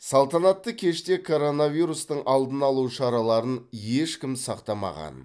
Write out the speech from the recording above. салтанатты кеште коронавирустың алдын алу шараларын ешкім сақтамаған